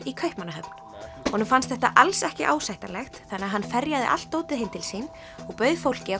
í Kaupmannahöfn honum fannst þetta alls ekki ásættanlegt þannig að hann ferjaði allt dótið heim til sín og bauð fólki